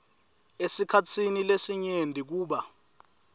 esikhatsini lesinyenti kuba